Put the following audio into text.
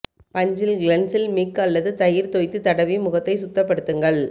பஞ்சில் cleansing milk அல்லது தயிர் தோய்த்து தடவி முகத்தை சுத்தப்படுத்துங்கள்